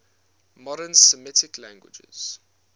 modern semitic languages